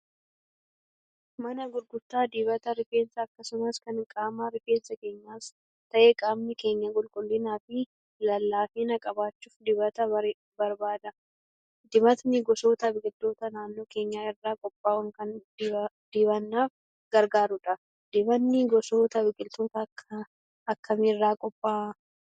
Mana gurgurtaa dibata rifeensaa akkasumas kan qaamaa. Rifeensi keenyas ta'e qaamni keenya qulqullinaa fi lallaafina qabaachuuf dibata barbaada. Dibatni gosoota biqiltootaa naannoo keenyaa irraa qophaa'uun kan dibannaaf gargaarudha. Dibanni gosoota biqiltootaa akkamii irraa qophaa'a?